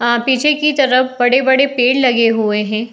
आ पीछे की तरफ बड़े-बड़े पेड़ लगे हुए हैं।